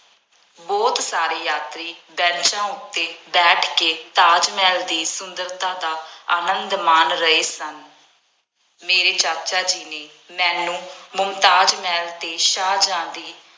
ਬਹੁਤ ਸਾਰੇ ਯਾਤਰੀ ਬੈਂਚਾਂ ਉੱਤੇ ਬੈਠ ਕੇ ਤਾਜ ਮਹਿਲ ਦੀ ਸੁੰਦਰਤਾ ਦਾ ਆਨੰਦ ਮਾਣ ਰਹੇ ਸਨ। ਮੇਰੇ ਚਾਚਾ ਜੀ ਨੇ ਮੈਨੂੰ ਮੁਮਤਾਜ਼ ਮਹਿਲ ਅਤੇ ਸ਼ਾਹਜਹਾਂ ਦੀ